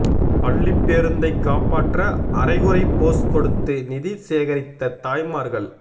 பள்ளிப் பேருந்தைக் காப்பாற்ற அரைகுறை போஸ் கொடுத்து நிதி சேகரித்த தாய்மார்கள்